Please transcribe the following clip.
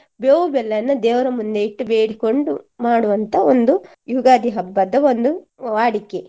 ಬೇವು ಬೆಲ್ಲನ ದೇವರ ಮುಂದೆ ಇಟ್ಟು ಬೇಡಿಕೊಂಡು ಮಾಡುವಂತ ಒಂದು ಯುಗಾದಿ ಹಬ್ಬದ ಒಂದು ವಾಡಿಕೆ